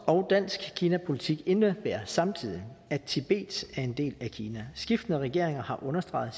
og dansk kinapolitik indebærer samtidig at tibet er en del af kina skiftende regeringer har understreget